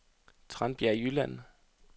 Tranbjerg Jylland